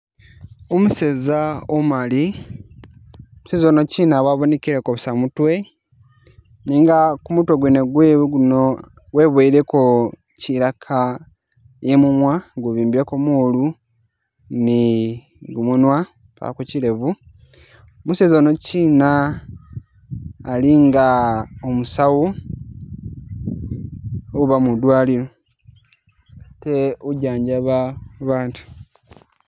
Umuseza umumali, umuseza yunokina wabonekileko busa mutwe, nenga kumutwe gwene gwewe guno wiboyileko kilaka i'munwa nga guliko moolu ni gumunwa, pako kilevu, museza yuno kina ali nga umusawu uba madwaliro ate ujanjaba batu